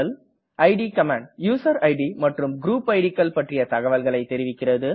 it command user id மற்றும் group id கள் பற்றிய தகவல்களை தெரிவிக்கிறது